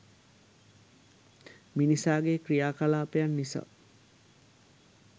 මිනිසාගේ ක්‍රියාකලාපයන් නිසා